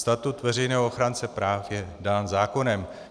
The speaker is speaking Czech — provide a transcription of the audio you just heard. Statut veřejného ochránce práv je dán zákonem.